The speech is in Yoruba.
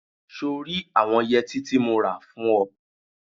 So rí àwọn yẹtí tí mo rà fún ọ?